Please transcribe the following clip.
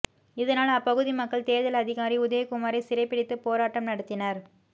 இதனால் அப்பகுதி மக்கள் தேர்தல் அதிகாரி உதயகுமாரை சிறைபிடித்து போராட்டம் நடத்தினர்